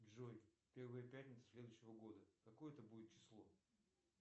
джой первая пятница следующего года какое это будет число